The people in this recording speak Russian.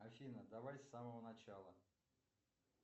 афина давай с самого начала